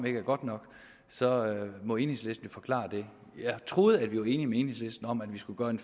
ikke er godt nok så må enhedslisten jo forklare det jeg troede at vi var enige med enhedslisten om at vi skulle gøre en